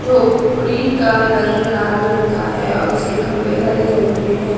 झोपड़ी का रंग लाल रंग का है और इसके खंभे हरे रंग के हैं।